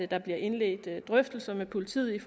der bliver indledt drøftelser med politiet